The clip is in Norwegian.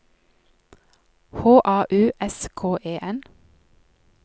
H A U S K E N